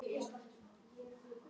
Hann leit til hennar.